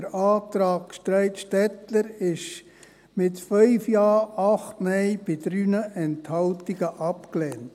Der Antrag Streit-Stettler wurde mit 5 Ja, 8 Nein bei 3 Enthaltungen abgelehnt.